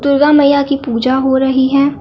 दुर्गा मईया की पूजा हो रही है।